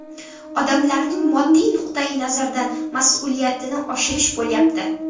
Odamlarning moddiy nuqtayi nazardan mas’uliyatini oshirish bo‘lyapti.